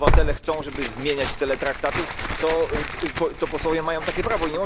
Jeśli obywatele chcą, żeby zmieniać cele Traktatów, to posłowie mają takie prawo.